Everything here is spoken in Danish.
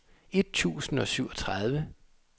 et tusind og syvogtredive